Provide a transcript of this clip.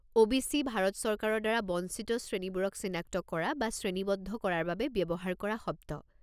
OBC. Bharat চৰকাৰৰ দ্বাৰা বঞ্চিত শ্ৰেণীবোৰক চিনাক্ত কৰা বা শ্ৰেণীবদ্ধ কৰাৰ বাবে ব্যৱহাৰ কৰা শব্দ।